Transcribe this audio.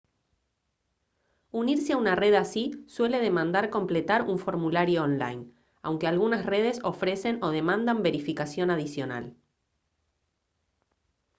unirse a una red así suele demandar completar un formulario online aunque algunas redes ofrecen o demandan verificación adicional